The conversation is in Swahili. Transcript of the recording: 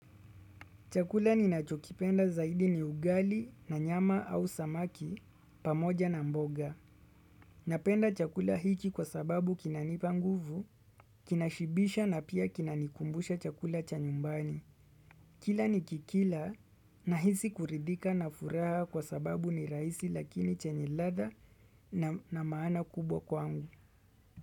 Chakula ninachokipenda zaidi ni ugali na nyama au samaki pamoja na mboga. Napenda chakula hiki kwa sababu kinanipa nguvu, kinashibisha na pia kinanikumbusha chakula cha nyumbani. Kila nikikila nahisi kuridhika na furaha kwa sababu ni rahisi lakini chenye ladha na maana kubwa kwangu.